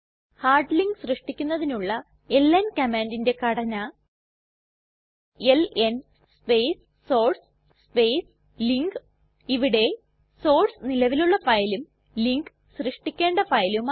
hard link സൃഷ്ടിക്കുന്നതിനുള്ള LN കമാൻഡിന്റെ ഘടന LN space source space link ഇവിടെ സോർസ് നിലവിലുള്ള ഫയലും ലിങ്ക് സൃഷ്ടിക്കേണ്ട ഫയലുമാണ്